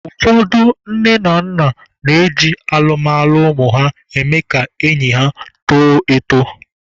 Ụfọdụ nne na nna na-eji alụmalụ ụmụ ha eme ka enyi ha tọọ atọ.